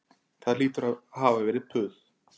Það hlýtur að hafa verið puð